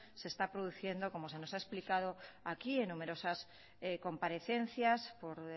se está produciendo como se nos ha explicado aquí en numerosas comparecencias por